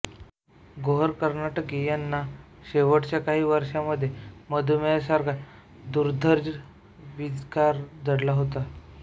गोहर कर्नाटकी यांना शेवटच्या काही वर्षांमध्ये मधुमेहासारखा दुर्धर विकार जडला होता